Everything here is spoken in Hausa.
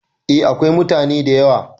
A akwai mutane da yawa